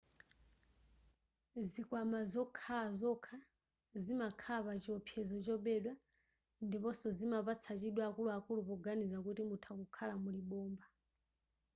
zikwama zokhala zokha zimakhala pa chiopsezo chobedwa ndiponso zimapatsa chidwi akuluakulu poganiza kuti mutha kukhala muli bomba